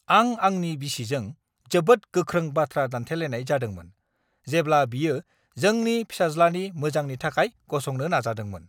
आं आंनि बिसिजों जोबोद गोख्रों बाथ्रा दान्थेलायनाय जादोंमोन, जेब्ला बियो जोंनि फिसाज्लानि मोजांनि थाखाय गसंनो नाजादोंमोन!